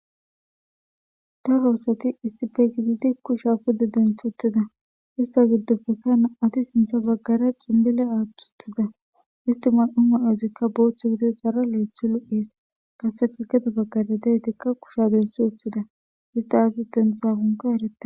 Daro asati issipe gididi kusha pude denthi utida issta gidopeka nam'ati sinthe bagara cinbile athi utida isti mayida mayozikka bothu gidoysara lothi lo'es qasekka gede bagara kusha denthi wothida isti azasi denthidakka eretena